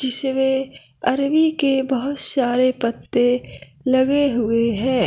जिसमें अरबी के बहोत सारे पत्ते लगे हुए है।